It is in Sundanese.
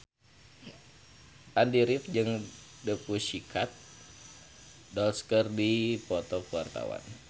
Andy rif jeung The Pussycat Dolls keur dipoto ku wartawan